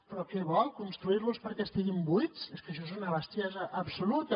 però què vol construir los perquè estiguin buits és que això és una bestiesa absoluta